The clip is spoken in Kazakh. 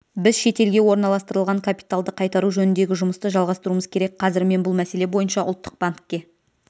біз шетелге орналастырылған капиталды қайтару жөніндегі жұмысты жалғастыруымыз керек қазір мен бұл мәселе бойынша ұлттық банкке